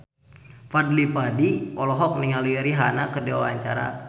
Fadly Padi olohok ningali Rihanna keur diwawancara